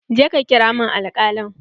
Jeka ƙira min alkalin!